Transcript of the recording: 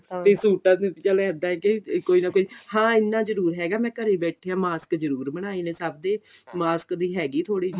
ਤੇ ਸੂਟਾਂ ਦਾ ਚੱਲ ਇੱਦਾਂ ਹੈ ਕੀ ਕੋਈ ਨਾ ਹਾਂ ਇੰਨਾ ਜਰੁਰ ਹੈਗਾ ਕੀ ਮੈਂ ਘਰੇ ਬੈਠਿਆਂ mask ਜਰੂਰ ਬਨਾਏ ਨੇ ਸਭ ਦੇ mask ਦੀ ਹੈਗੀ ਥੋੜੀ ਜੀ